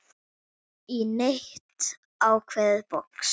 í neitt ákveðið box.